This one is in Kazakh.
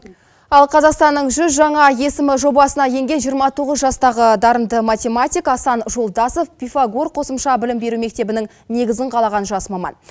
ал қазақстанның жүз жаңа есімі жобасына енген жиырма тоғыз жастағы дарынды математик асан жолдасов пифагор қосымша білім беру мектебінің негізін қалаған жас маман